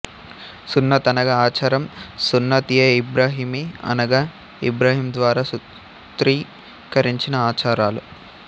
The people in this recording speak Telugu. సున్నత్ అనగా ఆచారం సున్నత్ఎఇబ్రాహీమి అనగా ఇబ్రాహీం ద్వారా సూత్రీకరించిన ఆచారాలు